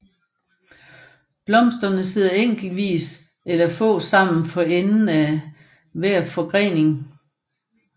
Blomsterne sidder enkeltvis eller få sammen for enden af hver forgrening